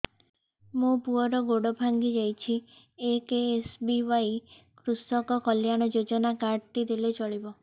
ମୋ ପୁଅର ଗୋଡ଼ ଭାଙ୍ଗି ଯାଇଛି ଏ କେ.ଏସ୍.ବି.ୱାଇ କୃଷକ କଲ୍ୟାଣ ଯୋଜନା କାର୍ଡ ଟି ଦେଲେ ଚଳିବ